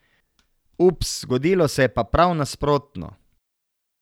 Ups, zgodilo se je pa prav nasprotno.